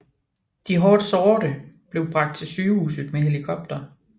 De hårdt sårede blev bragt til sygehuset med helikopter